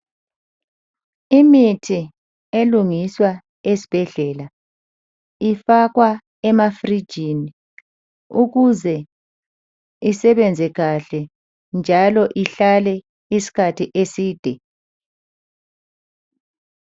Imithi elungiswa esibhedlela ifakwa emafrigini ukuze isebenze kahle njalo ihlale isikhathi eside